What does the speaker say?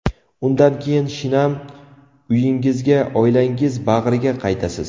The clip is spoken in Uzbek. Undan keyin shinam uyingizga, oilangiz bag‘riga qaytasiz.